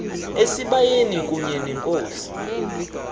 esibayeni kunye nenkosi